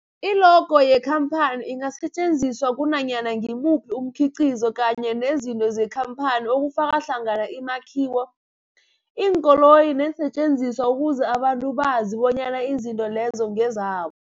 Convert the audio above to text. I-logo yekhamphani ingasetjenziswa kunanyana ngimuphi umkhiqizo kanye nezinto zekhamphani okufaka hlangana imakhiwo, iinkoloyi neensentjenziswa ukuze abantu bazi bonyana izinto lezo ngezabo.